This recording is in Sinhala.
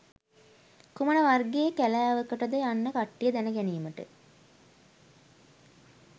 කුමන වර්ගයේ කැලැවකටද යන්න කට්ටියට දැන ගැනිමට